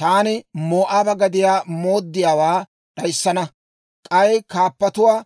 Taani Moo'aaba gadiyaa mooddiyaawaa d'ayissana; k'ay kaappatuwaa